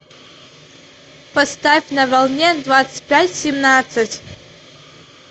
поставь на волне двадцать пять семнадца ь